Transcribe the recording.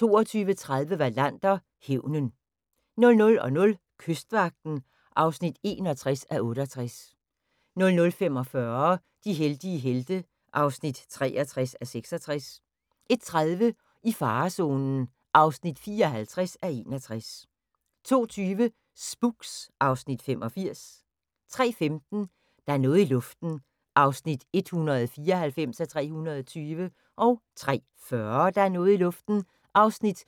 22:30: Wallander: Hævnen 00:00: Kystvagten (61:68) 00:45: De heldige helte (63:66) 01:30: I farezonen (54:61) 02:20: Spooks (Afs. 85) 03:15: Der er noget i luften (194:320) 03:40: Der er noget i luften (195:320)